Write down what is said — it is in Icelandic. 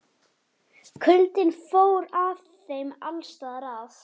Kuldinn fór að þeim alls staðar að.